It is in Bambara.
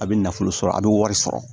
A bɛ nafolo sɔrɔ a bɛ wari sɔrɔ